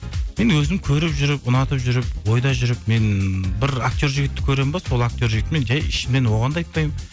мен өзім көріп жүріп ұнатып жүріп ойда жүріп мен бір актер жігітті көремін бе сол актер жігітті мен жай ішімнен оған да айтпаймын